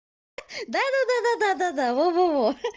да да да да да да да во во во